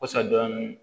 Wasa dɔn